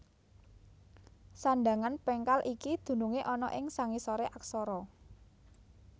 Sandhangan péngkal iki dunungé ana ing sangisoré aksara